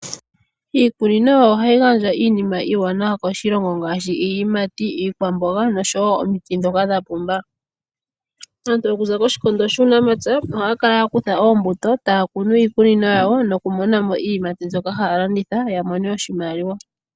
Iikunino ohayi gandja iinima iiwanawa koshilongo ngaashi iiyimati, iikwamboga nosho wo omiti ndhoka dha pumba. Aantu okuza kOshikondo shUunamapya ohaya kala ya kutha oombuto taya kunu iikunino yawo noku mona mo iiyimati mbyoka haya landitha ya mone oshimaliwa.